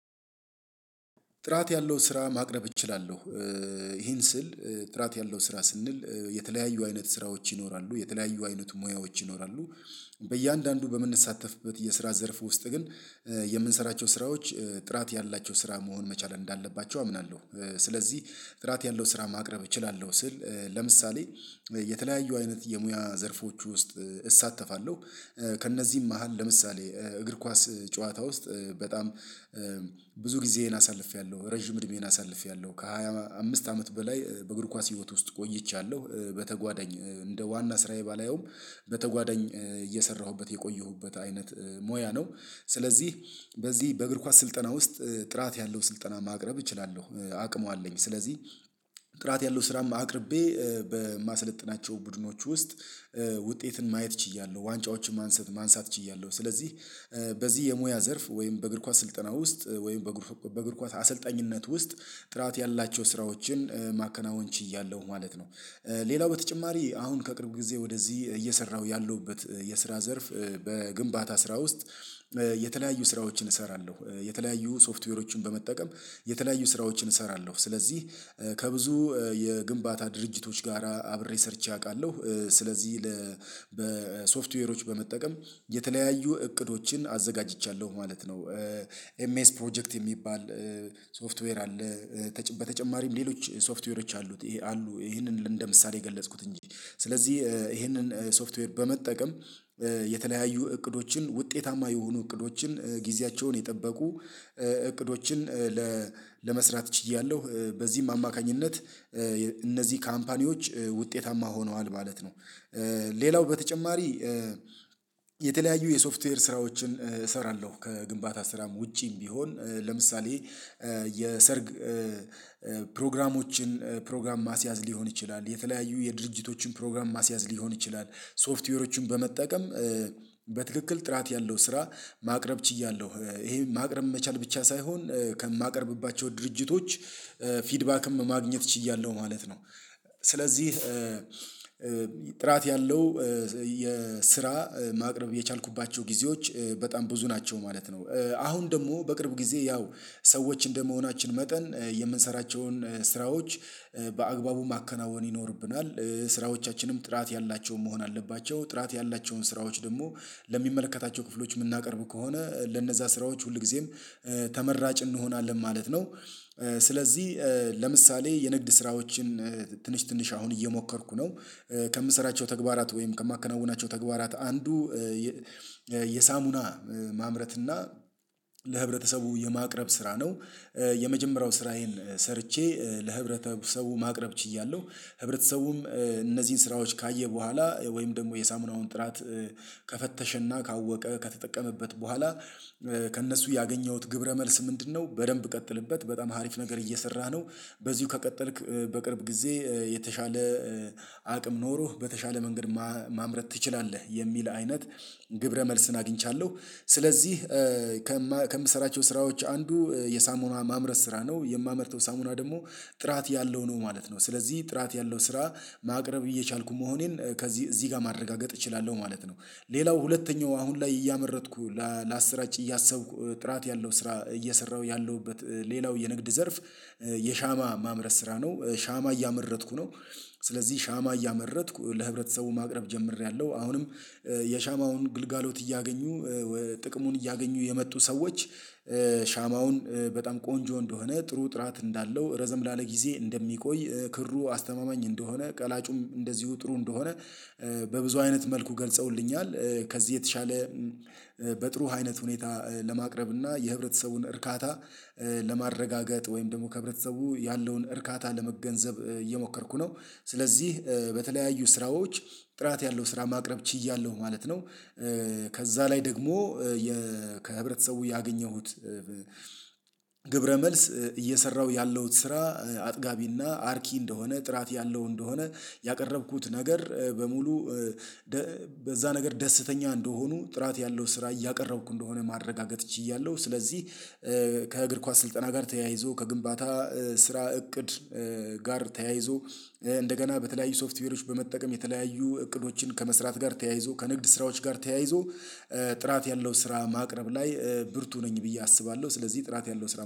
ጥራት ያለው ስራ ማቅረብ እችላለሁ። ይሄን ስል ጥራት ያለው ስራ ስንል የተለያዩ አይነት ስራዎች ይኖራሉ የተለያዩ አይነት ሙያዎች ይኖራሉ። በእያንዳንዱ በምንሳተፍበት የስራ ዘርፉ ውስጥ ግን የምንሰራቸው ስራዎች ጥራት ያላቸው ስራ መሆን መቻል እንዳለባቸው አምናለሁ። ስለዚህ ጥራት ያለው ስራ ማቅረብ እችላለሁ ስል ለምሳሌ የተለያዩ አይነት የሙያ ዘርፎች ውስጥ እሳተፋለሁ። ከእነዚህም መሃል ለምሳሌ እግር ኳስ ጨዋታ ውስጥ በጣም ብዙ ጊዜዬን አሳልፌያለሁ ረጅም እድሜዬን አሳልፌያለሁ ከሃያ አምስት አመት በላይ በእግር ኳስ ህይወት ውስጥ ቆይቻለሁ። በተጓደኝ እንደ ዋና ስራዬ ባላየውም በተጓደኝ እየሰራሁበት የቆየሁበት አይነት ሙያ ነው። ስለዚህ በዚህ በእግር ኳስ ስልጠና ውስጥ ጥራት ያለው ስልጠና ማቅረብ እችላለሁ። አቅሙ አለኝ ስለዚህ ጥራት ያለው ስራም አቅርቤ በማሰለጥናቸው ቡድኖች ውስጥ ውጤትን ማየት ችያለሁ ዋንጫዎችን ማንሳት ችያለሁ። ስለዚህ በዚህ የሙያ ዘርፍ ወይም በእግር ኳስ ስልጠና ውስጥ ወይም በእግር ኳስ አሰልጣኝነት ውስጥ ጥራት ያላቸው ስራዎችን ማከናወን ችያለሁ ማለት ነው። ሌላው በተጨማሪ አሁን ከቅርብ ጊዜ ወደዚህ እየሰራሁ ያለሁበት የስራ ዘርፍ በግንባታ ስራ ውስጥ የተለያዩ ስራዎችን እሰራለሁ የተለያዩ ሶፍትዌሮችን በመጠቀም የተለያዩ ስራዎችን እሰራለሁ። ስለዚህ ከብዙ የግንባታ ድርጅቶች ጋር አብሬ ሰርቼ አውቃለሁ ስለዚህ ለ በሶፍትዌሮች በመጠቀም የተለያዩ እቅዶችን አዘጋጅቻለሁ ማለት ነው። ኤምኤስ ፕሮጀክት የሚባል ሶፍትዌር አለ በተጨማሪም ሌሎች ሶፍትዌሮች አሉት ይሄ አሉ ይሄንን እንደ ምሳሌ ገለጽኩት እንጂ ስለዚህ ይሄንን ሶፍትዌር በመጠቀም የተለያዩ እቅዶችን ውጤታማ የሆኑ እቅዶችን ጊዜያቸውን የጠበቁ እቅዶችን ለመስራት ችያለሁ። በዚህም አማካኝነት እነዚህ ካምፓኒዎች ውጤታማ ሆነዋል ማለት ነው። ሌላው በተጨማሪ የተለያዩ የሶፍትዌር ስራዎችን እሰራለሁ ከግንባታ ስራም ውጪም ቢሆን ለምሳሌ የሰርግ ፕሮግራሞችን ፕሮግራም ማስያዝ ሊሆን ይችላል የተለያዩ የድርጅቶችን ፕሮግራም ማስያዝ ሊሆን ይችላል ሶፍትዌሮችን በመጠቀም በትክክል ጥራት ያለው ስራ ማቅረብ ችያለሁ። ይሄ ማቅረብ መቻል ብቻ ሳይሆን ከማቀርብባቸው ድርጅቶች ፊድባክም ማግኘት ችያለሁ ማለት ነው። ስለዚህ ጥራት ያለው የስራ ማቅረብ የቻልኩባቸው ጊዜዎች በጣም ብዙ ናቸው ማለት ነው። አሁን ደግሞ በቅርብ ጊዜ ያው ሰዎች እንደመሆናችን መጠን የምንሰራቸውን ስራዎች በአግባቡ ማከናወን ይኖርብናል ስራዎቻችንም ጥራት ያላቸውን መሆን አለባቸው ጥራት ያላቸውን ስራዎች ደግሞ ለሚመለከታቸው ክፍሎች የምናቀርብ ከሆነ ለነዛ ስራዎች ሁልጊዜም ተመራጭ እንሆናለን ማለት ነው። ስለዚህ ለምሳሌ የንግድ ስራዎችን ትንሽ ትንሽ አሁን እየሞከርኩ ነው። ከምሰራቸው ተግባራት ወይም ከማከናውናቸው ተግባራት አንዱ የሳሙና ማምረት እና ለህብረተሰቡ የማቅረብ ስራ ነው። የመጀመሪያው ስራዬን ሰርቼ ለህብረተሰቡ ማቅረብ ችያለሁ። ህብረተሰቡም እነዚህን ስራዎች ካየ በኋላ ወይም ደግሞ የሳሙናውን ጥራት ከፈተሸና ካወቀ ከተጠቀመበት በኋላ ከእነሱ ያገኘሁት ግብረ መልስ ምንድነው? በደንብ ቀጥልበት በጣም ሀሪፍ ነገር እየሰራህ ነው። በዚሁ ከቀጠልክ በቅርብ ጊዜ የተሻለ አቅም ኖሮህ በተሻለ መንገድ ማምረት ትችላለህ የሚል አይነት ግብረ መልስን አግኝቻለሁ። ስለዚህ ከምሰራቸው ስራዎች አንዱ የሳሞና ማምረስ ስራ ነው የማመርተው ሳሙና ደግሞ ጥራት ያለው ነው ማለት ነው ስለዚህ ጥራት ያለው ስራ ማቅረብ እየቻልኩ መሆኔን ከዚህ እዚህ ጋር ማረጋገጥ እችላለሁ ማለት ነው። ሌላው ሁለተኛው አሁን ላይ እያመረጥኩ ላሰራጭ እያሰብኩ ጥራት ያለው ስራ እየሰራሁ ያለሁበት ሌላው የንግድ ዘርፍ የሻማ ማምረስ ስራ ነው ሻማ እያመረጥኩ ነው። ስለዚህ ሻማ እያመረጥኩ ለህብረተሰቡ ማቅረብ ጀምሬያለሁ አሁንም የሻማውን ግልጋሎት እያገኙ ጥቅሙን እያገኙ የመጡ ሰዎች ሻማውን በጣም ቆንጆ እንደሆነ ጥሩ ጥራት እንዳለው ረዘም ላለ ጊዜ እንደሚቆይ ክሩ አስተማማኝ እንደሆነ ቀላጩም እንደዚሁ ጥሩ እንደሆነ በብዙ አይነት መልኩ ገልጸውልኛል። ከዚህ የተሻለ በጥሩ አይነት ሁኔታ ለማቅረብ እና የህብረተሰቡን እርካታ ለማረጋገጥ ወይም ደግሞ ከህብረተሰቡ ያለውን እርካታ ለመገንዘብ እየሞከርኩ ነው። ስለዚህ በተለያዩ ስራዎች ጥራት ያለው ስራ ማቅረብ ችያለሁ ማለት ነው። ከዛ ላይ ደግሞ ከህብረተሰቡ ያገኘሁት ግብረ መልስ እየሰራሁ ያለው ስራ አጥጋቢና አርኪ እንደሆነ ጥራት ያለው እንደሆነ ያቀረብኩት ነገር በሙሉ በዛ ነገር ደስተኛ እንደሆኑ ጥራት ያለው ስራ እያቀረብኩ እንደሆነ ማረጋገጥ ችያለሁ። ስለዚህ ከእግር ኳስ ስልጠና ጋር ተያይዞ ከግንባታ ስራ እቅድ ጋር ተያይዞ እንደገና በተለያዩ ሶፍትዌሮች በመጠቀም የተለያዩ እቅዶችን ከመስራት ጋር ተያይዞ ከንግድ ስራዎች ጋር ተያይዞ ጥራት ያለው ስራ ማቅረብ ላይ ብርቱ ነኝ ብዬ አስባለሁ። ስለዚህ ጥራት ያለው ስራ